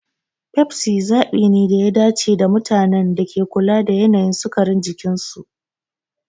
Pepsi zabi ne da ya dace ga mutanen da ke kula da yanayin sukarin jikinsu.